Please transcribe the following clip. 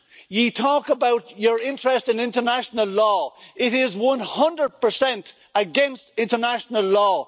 You talk about your interest in international law, but this is 100 against international law.